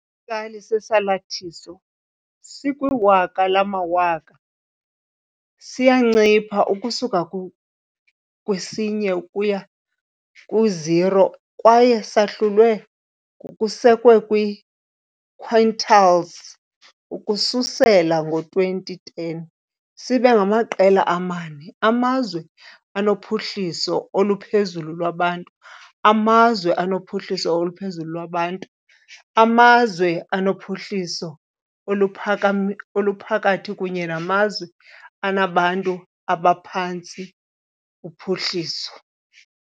Isikali sesalathiso sikwiwaka lamawaka siyancipha ukusuka kwi-1 ukuya kwi-0 kwaye sahlulwe, ngokusekwe kwi-quartiles, ukususela ngo-2010, sibe ngamaqela amane - amazwe anophuhliso oluphezulu lwabantu, amazwe anophuhliso oluphezulu lwabantu, amazwe anophuhliso oluphakathi kunye namazwe anabantu abaphantsi uphuhliso.